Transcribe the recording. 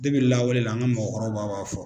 lawale la an ka mɔgɔkɔrɔbaw ba b'a fɔ